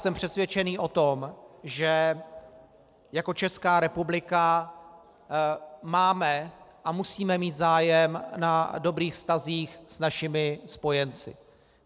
Jsem přesvědčený o tom, že jako Česká republika máme a musíme mít zájem na dobrých vztazích s našimi spojenci.